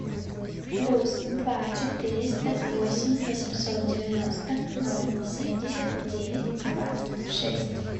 плюс два четыреста восемь восемьсот девяносто ноль семьдесят девять двадцать шесть